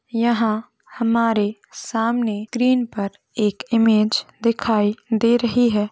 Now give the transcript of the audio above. यहा हमारे सामने स्क्रीन पर एक इमेज दिखाई दे रही है।